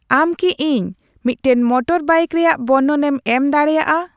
ᱟᱢ ᱠᱤ ᱤᱧ ᱢᱤᱫᱴᱟᱝ ᱢᱚᱴᱚᱨ ᱵᱟᱭᱤᱠ ᱨᱮᱭᱟᱜ ᱵᱚᱨᱱᱚᱱᱮᱢ ᱮᱢ ᱫᱟᱲᱤᱭᱟᱜᱼᱟ